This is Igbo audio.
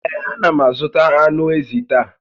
Ee, a na m azụta ànù ézì taa